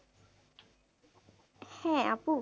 হ্যাঁ আপু।